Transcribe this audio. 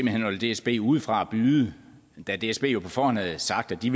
hen holder dsb ude fra at byde da dsb jo på forhånd havde sagt at de